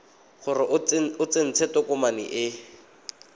gore o tsentse tokomane e